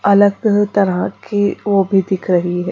अलग तरह की वो भी दिख रही है।